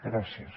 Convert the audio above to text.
gràcies